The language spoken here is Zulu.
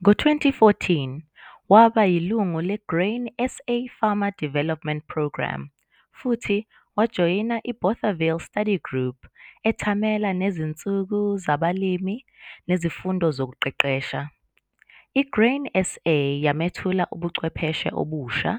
Ngo-2014 waba yilungu le-Grain SA Farmer Development Programme futhi wajoyina i-Bothaville Study group ethamela nezinsuku zabalimi nezifundo zokuqeqesha. I-Grain SA yamethula kubuchwepheshe obusha,